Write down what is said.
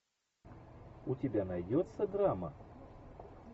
у тебя найдется драма